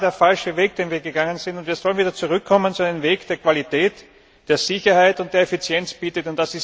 Es war der falsche Weg, den wir gegangen sind, und wir sollten wieder zurückkommen zu einem Weg, der Qualität, Sicherheit und Effizienz bietet.